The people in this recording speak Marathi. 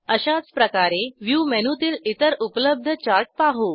अशाचप्रकारे व्ह्यू मेनूतील इतर उपलब्ध चार्ट पाहू